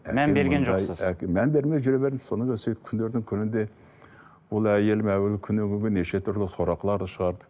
мән берген жоқсыз мән бермей жүре бердім содан кейін сөйтіп күндердің күнінде ол әйелім әуелі күннен күнге неше түрлі сорақыларды шығарды